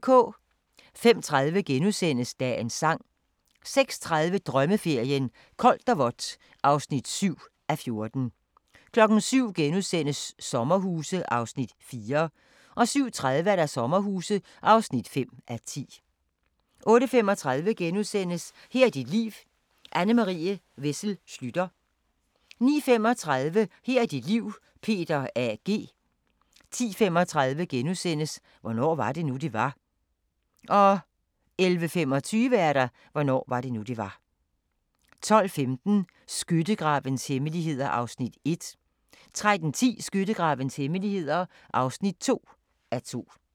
05:30: Dagens Sang * 06:30: Drømmeferien: Koldt og vådt (7:14) 07:00: Sommerhuse (4:10)* 07:30: Sommerhuse (5:10) 08:35: Her er dit liv – Anne Marie Wessel Schlüter * 09:35: Her er dit liv – Peter A. G. 10:35: Hvornår var det nu, det var? * 11:25: Hvornår var det nu, det var? 12:15: Skyttegravenes hemmeligheder (1:2) 13:10: Skyttegravenes hemmeligheder (2:2)